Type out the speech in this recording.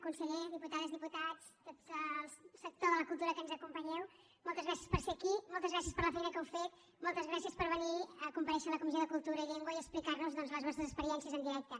conseller diputades diputats tot el sector de la cultura que ens acompanyeu moltes gràcies per ser aquí moltes gràcies per la feina que heu fet moltes gràcies per venir a comparèixer a la comissió de cultura i llengua i explicar nos doncs les vostres experiències en directe